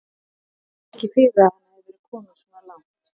Hana óraði ekki fyrir að hann hefði verið kominn svona langt.